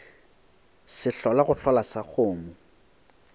sehlola go hlola sa kgomo